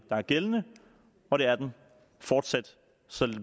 der er gældende og det er den fortsat så